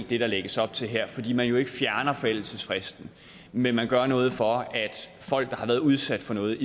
det der lægges op til her fordi man jo ikke fjerner forældelsesfristen men man gør noget for at folk der har været udsat for noget